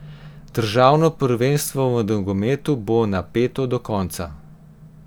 Državno prvenstvo v nogometu bo napeto do konca.